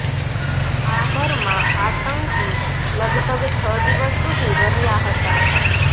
આ ઘરમાં આતંકી લગભગ છ દિવસ સુધી રહ્યા હતા